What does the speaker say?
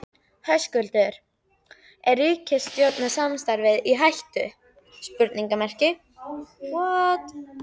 Höskuldur: Er ríkisstjórnarsamstarfið í hættu?